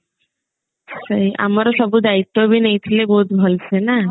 ସେଇ ଆମର ସବୁ ଦାୟିତ୍ଵ ବି ନେଇଥିଲେ ବହୁତ ଭଲସେ ନା